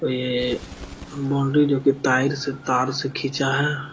और ये बाउंड्री जो की तार से तार से खींचा है।